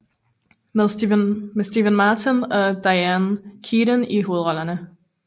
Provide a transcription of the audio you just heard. Med Steve Martin og Diane Keaton i hovedrollerne